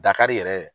Dakari yɛrɛ